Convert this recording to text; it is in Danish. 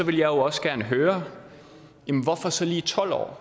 vil jeg også gerne høre hvorfor så lige tolv år